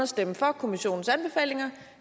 stemme for kommissionens anbefalinger